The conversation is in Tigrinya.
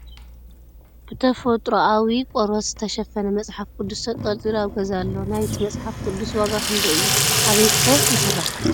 ብ ተፈጥርኣዊ ቆርበት ዝትሸፈነ መፅሓፍ ቅዱስ ተንጠልጢሉ ኣብ ገዛ ኣሎ ። ናይቲ ምፅሓፍ ቅዱስ ዋጋ ክንደይ እዩ ኣበይ ከ ይስራሕ ?